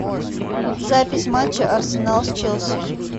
запись матча арсенал с челси